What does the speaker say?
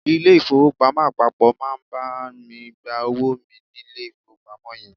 Ilé ìfowópamọ́ àpapọ̀ máa bá mi gba owó mi nílé ìfowópamọ́ yẹn.